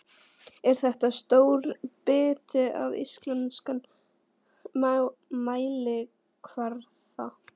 Er þetta stór biti á íslenskan mælikvarða?